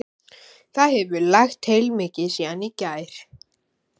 Það hefur lægt heilmikið síðan í gær.